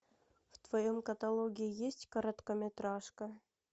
в твоем каталоге есть короткометражка